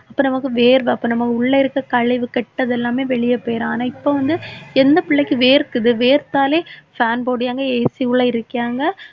அப்ப நமக்கு வேர்வை அப்ப நம்ம உள்ள இருக்க கழிவு கெட்டது எல்லாமே வெளியே போயிரும். ஆனா இப்ப வந்து எந்த பிள்ளைக்கு வேர்க்குது வேர்த்தாலே fan போடுயாங்க AC உள்ள இருக்கியாங்க